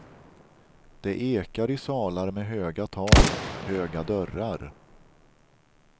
Det ekar i salar med höga tak, höga dörrar.